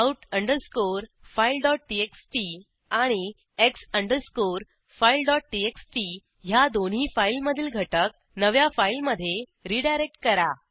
out underscore fileटीएक्सटी आणि X underscore fileटीएक्सटी ह्या दोन्ही फाईलमधील घटक नव्या फाईलमधे रीडायरेक्ट करा